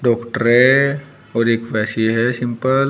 Doctor है और एक है सिंपल ।